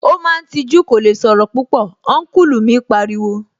Ó máa ń tijú, kò lè sọ̀rọ̀ púpọ̀, Ọ́nkùlù mi pariwo